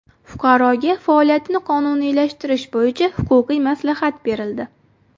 Fuqaroga faoliyatini qonuniylashtirish bo‘yicha huquqiy maslahat berildi.